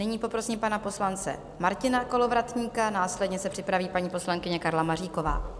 Nyní poprosím pana poslance Martina Kolovratníka, následně se připraví paní poslankyně Karla Maříková.